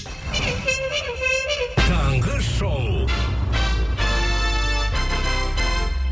таңғы шоу